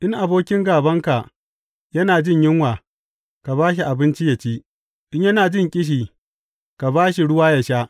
In abokin gābanka yana jin yunwa, ka ba shi abinci ya ci; in yana jin ƙishi, ka ba shi ruwa ya sha.